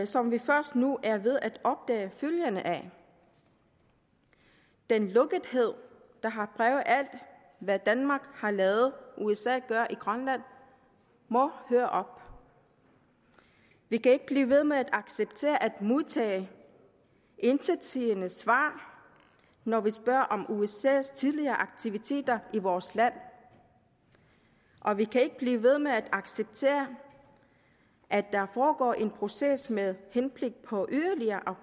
som vi først nu er ved at opdage følgerne af den lukkethed der har præget alt hvad danmark har ladet usa gøre i grønland må høre op vi kan ikke blive ved med at acceptere at modtage intetsigende svar når vi spørger om usas tidligere aktiviteter i vores land og vi kan ikke blive ved med at acceptere at der foregår en proces med henblik på yderligere